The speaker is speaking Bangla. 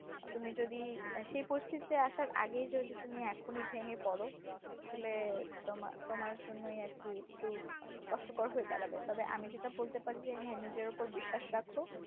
তুমি যদি সে পরিস্থিতিতে আসার আগেই তুমি যদি এখনই ভেঙে পড়ো আসলে তোমার তোমার জন্যই আর কি? কিন্তু কষ্টকর হয়ে দাঁড়াবে তবে আমি যেটা বলতে পারি যে হ্যাঁ নিজের উপর বিশ্বাস রাখো